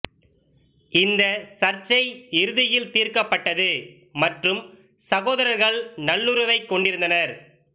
இந்த சர்ச்சை இறுதியில் தீர்க்கப்பட்டது மற்றும் சகோதரர்கள் நல்லுறவைக் கொண்டிருந்தனர்